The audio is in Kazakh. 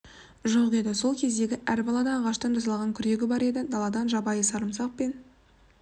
жоқ еді сол кездегі әр балада ағаштан жасалған күрегі бар еді даладан жабайы сарымсақ пен